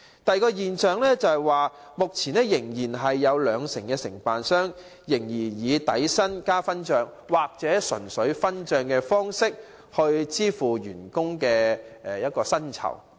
第二個問題是，目前有兩成的營辦商仍然以底薪加分帳，或純粹分帳的方式來支付司機的薪酬。